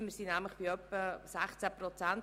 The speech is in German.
Wir liegen nämlich bei etwa 16 Prozent.